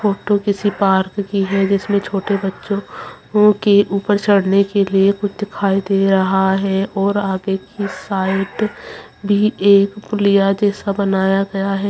Photo किसी park की है जिसमें छोटे बच्चों के ऊपर चढ़ने के लिए कुछ दिखाई दे रहा है और आगे की साइट भी एक पुलिया जैसा कुछ बनाया गया है।